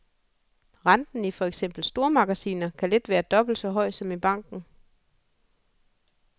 Renten i for eksempel stormagasiner kan let være dobbelt så høj som i banken.